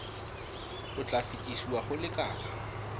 o tla fetesiwa go lekala